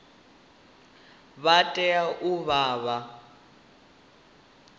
vha tea u vha vha